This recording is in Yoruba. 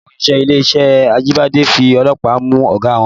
Àwọn òṣìṣẹ́ ilé-iṣẹ́ Ajibade fi ọlọ́pàá mú ọ̀gá wọn